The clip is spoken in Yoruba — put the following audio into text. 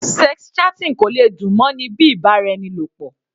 Sex chatting kò lè dùn mọ́ ni bíi ìbáraẹnilọ̀pọ̀.